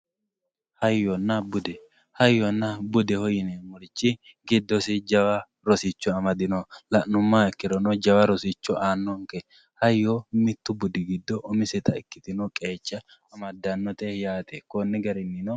hayyonna bude hayyonna budeho yineemorichi giddosi jawa rosicho amadino la'numoha ikkirono jawa rosicho aanonke hayyo mittu budi giddo umiseta ikkitino qeecha amaddannote yaate konni garinnino